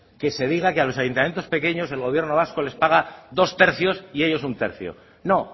que se diga que a los ayuntamientos pequeños el gobierno vasco les paga dos tercios y ellos un tercio no